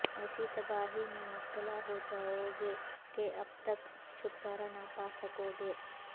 ایسی تباہی میں مبتلا ہو جاو گے کہ ابد تک چھٹکارا نہ پا سکو گے